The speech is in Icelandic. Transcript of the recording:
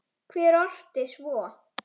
Hver orti svo?